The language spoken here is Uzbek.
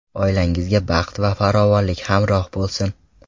Oilangizga baxt va farovonlik hamroh bo‘lsin!